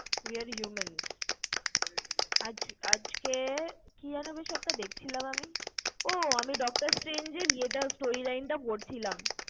we are humans আজ~আজকে কি যেন বেশ একটা দেখছিলাম আমি? ও আমি Doctor Strange এর storyline টা পড়ছিলাম।